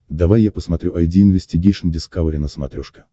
давай я посмотрю айди инвестигейшн дискавери на смотрешке